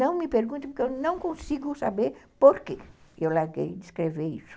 Não me pergunte, porque eu não consigo saber por que eu larguei de escrever isso.